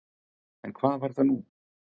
En hvað var nú?